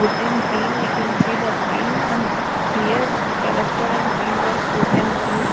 wooden theme we can see the theme ah here the restaurant theme was the wooden theme.